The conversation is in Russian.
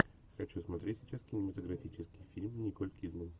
хочу смотреть сейчас кинематографический фильм николь кидман